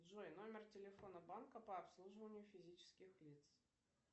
джой номер телефона банка по обслуживанию физических лиц